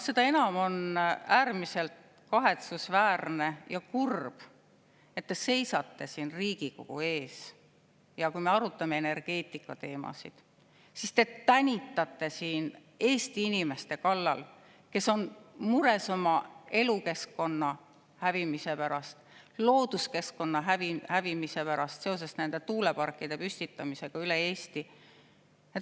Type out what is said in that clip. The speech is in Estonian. Seda enam on äärmiselt kahetsusväärne ja kurb, et te seisate siin Riigikogu ees ja kui me arutame energeetikateemasid, siis te tänitate siin Eesti inimeste kallal, kes on mures oma elukeskkonna ja looduskeskkonna hävimise pärast seoses tuuleparkide püstitamisega üle Eesti.